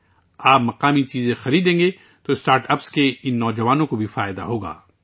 اگر آپ مقامی چیزیں خریدیں گے تو اسٹارٹ اپس کے ان نوجوانوں کو بھی فائدہ ہوگا